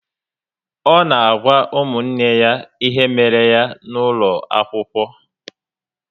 O n'agwa ụmụnne ya ihe méré ya n'ulo akwụkwọ